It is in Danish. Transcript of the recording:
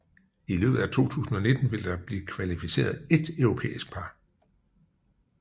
I løbet af 2019 vil der blive kvalificeret ét europæisk par